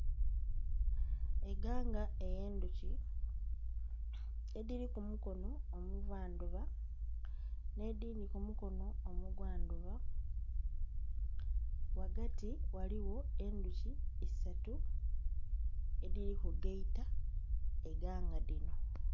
Eganga edhuki edhiri kumukono omuva ndhuba n'edhindhi kumukono omugwa ndhuba ghagati ghaligho endhuki isatu edhiri kugaita eganga dhino.